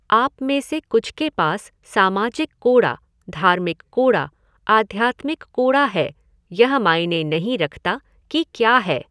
आप में से कुछ के पास सामाजिक कूड़ा, धार्मिक कूड़ा, आध्यात्मिक कूड़ा है, यह मायने नहीं रखता कि क्या है।